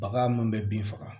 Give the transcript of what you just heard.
Baga munnu be bin faga